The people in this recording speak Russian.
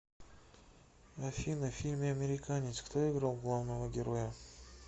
афина в фильме американец кто играл главного героя